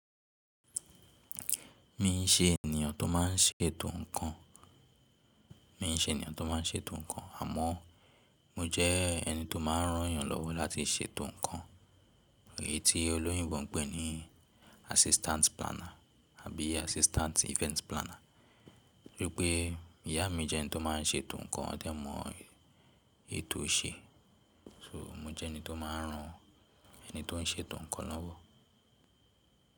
Mi n ṣe ènìyàn tó má n ṣètò ǹkan, mi n ṣe ènìyàn tó má n ṣètò ǹkan àmọ́ mo jẹ́ ẹni tó máa n rán yàn lọ́wọ́ láti ṣètò ǹkan, èyí tí olóyinbo n pè ní assistant planner àbí assistant event planner. Wipé ìyá mi jẹ́ ẹni tó má n ṣètò ǹkan, ọ dẹ́ mọ ètò ṣe. So mo jẹ́ ẹni tó máa n rán ẹni tó n ṣètò ǹkan lọ́wọ́.